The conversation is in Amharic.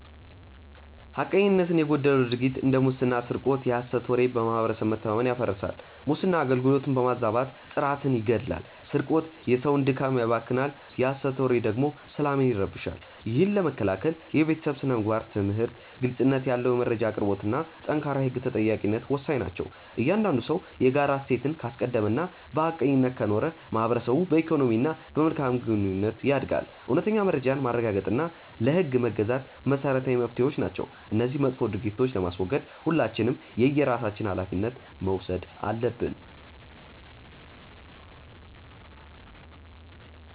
ሐቀኝነት የጎደለው ድርጊት እንደ ሙስና ስርቆት የሐሰት ወሬ በማህበረሰብ መተማመንን ያፈርሳል። ሙስና አገልግሎትን በማዛባት ጥራትን ይገድላል ስርቆት የሰውን ድካም ያባክናል የሐሰት ወሬ ደግሞ ሰላምን ይረብሻል። ይህን ለመከላከል የቤተሰብ ስነ-ምግባር ትምህርት፣ ግልጽነት ያለው የመረጃ አቅርቦትና ጠንካራ የህግ ተጠያቂነት ወሳኝ ናቸው። እያንዳንዱ ሰው የጋራ እሴትን ካስቀደመና በሐቀኝነት ከኖረ ማህበረሰቡ በኢኮኖሚና በመልካም ግንኙነት ያድጋል። እውነተኛ መረጃን ማረጋገጥና ለህግ መገዛት መሰረታዊ መፍትሄዎች ናቸው። እነዚህን መጥፎ ድርጊቶች ለማስወገድ ሁላችንም የየራሳችንን ሃላፊነት መውሰድ አለብን።